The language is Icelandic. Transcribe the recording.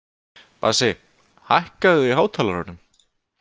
Bassi, hækkaðu í hátalaranum.